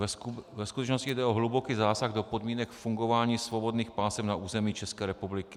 Ve skutečnosti jde o hluboký zásah do podmínek fungování svobodných pásem na území České republiky.